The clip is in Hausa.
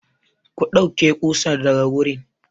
Ku ɗauke ƙusar daga wurin!